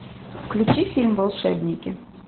включи фильм волшебники